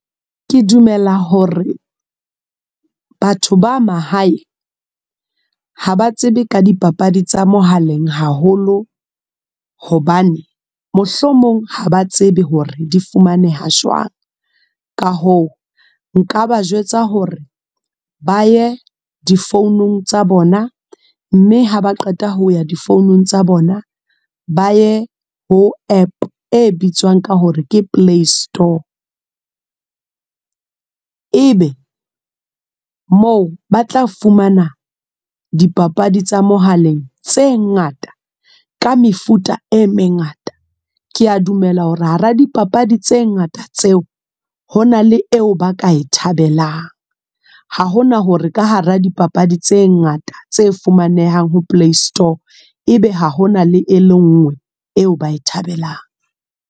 Ke dumela hore, batho ba mahae. Haba tsebe ka dipapadi tsa mohaleng haholo. Hobane, mohlomong ha ba tsebe hore di fumaneha jwang. Ka hoo, nka ba jwetsa hore, ba ye difounung tsa bona. Mme ha ba qeta ho ya difounung tsa bona. Ba ye ho app e bitswang ka hore ke Play Store. E be, moo ba tla fumana dipapadi tsa mohaleng tse ngata, ka mefuta e mengata. Ke a dumela hore hara dipapadi tse ngata tseo. Ho na le eo ba ka e thabelang. Ha hona hore ka hara dipapadi tse ngata, tse fumanehang ho Play Store. E be ha hona le papadi e le nngwe eo ba ka e thabelang.